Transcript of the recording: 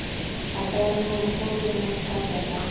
अधर्म उनको क्यों नहीं खा जाता